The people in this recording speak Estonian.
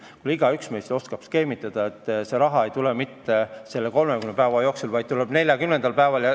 Kuulge, igaüks meist oskab skeemitada, et see raha ei tuleks mitte nende 30 päeva jooksul, vaid 40. päeval.